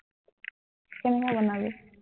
কেনেকা বনাবি?